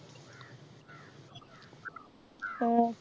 ആഹ്